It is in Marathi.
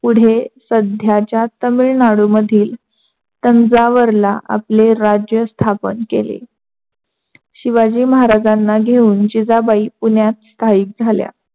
पुढे सध्याच्या तामिलनाळू मधील तंजावरला आपले राज्य स्थापन केले. शिवाजी महाराजांना घेऊन जिजाबाई पुण्यात स्थाईक झाल्या.